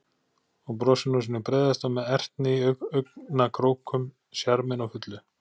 Og brosir nú sínu breiðasta með ertni í augnakrókum, sjarminn á fullu.